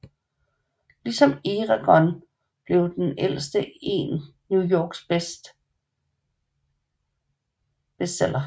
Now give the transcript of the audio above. Ligesom Eragon blev Den Ældste en New York Times bestseller